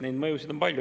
Neid mõjusid on palju.